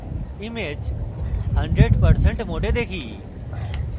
image 100% mode দেখি